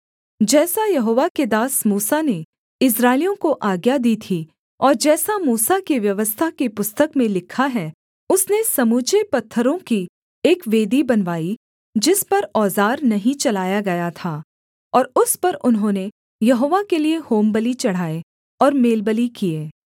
जैसा यहोवा के दास मूसा ने इस्राएलियों को आज्ञा दी थी और जैसा मूसा की व्यवस्था की पुस्तक में लिखा है उसने समूचे पत्थरों की एक वेदी बनवाई जिस पर औज़ार नहीं चलाया गया था और उस पर उन्होंने यहोवा के लिये होमबलि चढ़ाए और मेलबलि किए